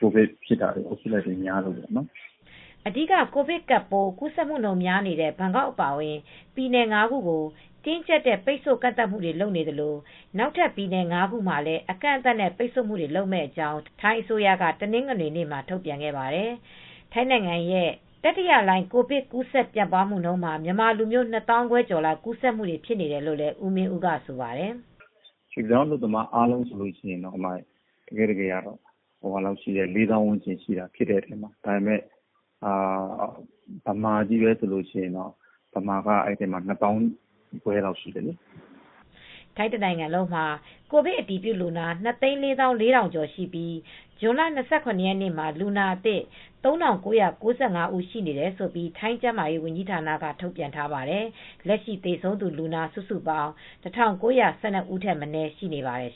ကိုဗစ်ဖြစ်တာ ကူးစက်မှုတွေများလို့ပေါ့။” အဓိက ကိုဗစ်ကပ်ပိုး ကူးစက်မှုများနေတဲ့ ဘန်ကောက်အပါအဝင် ပြည်နယ် ၅ ခုကို တင်းကျပ်တဲ့ ပိတ်ဆို့ကန့်သတ်မှုတွေ လုပ်သလို နောက်ထပ်ပြည်နယ် ၅ ခုမှာလည်း အကန့်အသတ်နဲ့ ပိတ်ဆို့မှုတွေ လုပ်မယ့်အကြောင်း ထိုင်းအစိုးရက တနင်္ဂနွေနေ့မှာ ထုတ်ပြန်ခဲ့ပါတယ်။ ထိုင်းနိုင်ငံရဲ့ တတိယလှိုင်း ကိုဗစ်ကပ်ပိုး ကူးစက်မှုမှာ မြန်မာလူမျိုး ၂ သောင်းခွဲကျော်လောက် ကူးစက်မှု ဖြစ်နေတယ်လို့လည်း ဦးမင်းဦးက ဆိုပါတယ်။ “ရွှေ့ပြောင်းအလုပ်သမား အားလုံးဆိုရင်တော့ ၄ သောင်းဝန်းကျင်လောက်ရှိတယ်။ အဲဒီထဲမှာက မြန်မာချည်းပဲဆိုရင် မြန်မာက အဲဒီထဲမှာ ၂ သောင်းခွဲကျော်ရှိတယ်။” ထိုင်းတနိုင်ငံလုံးမှာ ကိုဗစ်အတည်ပြုလူနာ ၂၄၄,၀၀၀ ကျော်ရှိပြီး ဇွန်လ ၂၇ ရက်နေ့မှာ လူနာအသစ် ၃,၉၉၅ ဦးရှိတယ်လို့ ထိုင်းကျန်းမာရေးဌာနက ထုတ်ပြန်ထားပါတယ်။ လက်ရှိ သေဆုံးလူနာ စုစုပေါင်း ၁,၉၁၂ ဦးထက်မနည်း ရှိနေပါတယ်